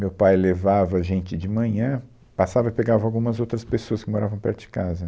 Meu pai levava a gente de manhã, passava e pegava algumas outras pessoas que moravam perto de casa.